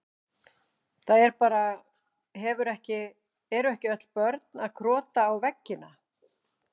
Það er bara, hefur ekki, eru ekki öll börn að krota á veggina?